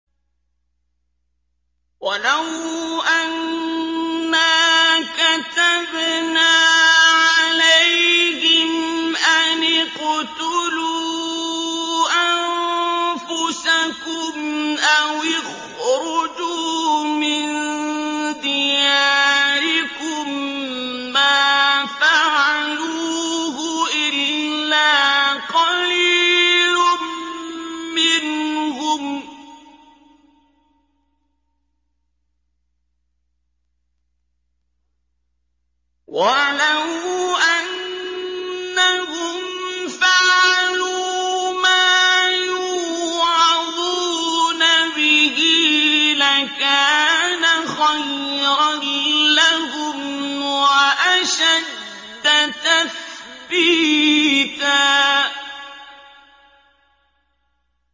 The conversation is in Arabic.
وَلَوْ أَنَّا كَتَبْنَا عَلَيْهِمْ أَنِ اقْتُلُوا أَنفُسَكُمْ أَوِ اخْرُجُوا مِن دِيَارِكُم مَّا فَعَلُوهُ إِلَّا قَلِيلٌ مِّنْهُمْ ۖ وَلَوْ أَنَّهُمْ فَعَلُوا مَا يُوعَظُونَ بِهِ لَكَانَ خَيْرًا لَّهُمْ وَأَشَدَّ تَثْبِيتًا